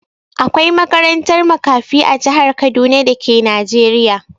Akwai makarantar makafi a jihar Kaduna da ke Najeriya.